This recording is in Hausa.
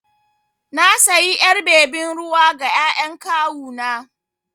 Na sayi ƴar bebin ruwa ga ƴaƴan kawu na.